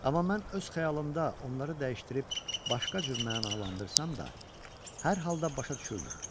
Amma mən öz xəyalımda onları dəyişdirib başqa cür mənalandırsam da, hər halda başa düşürdüm.